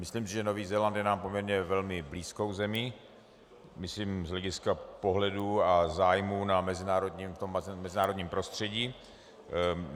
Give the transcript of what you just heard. Myslím si, že Nový Zéland je nám poměrně velmi blízkou zemí, myslím z hlediska pohledů a zájmů na mezinárodním prostředí.